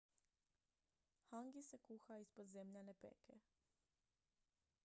hangi se kuha ispod zemljane peke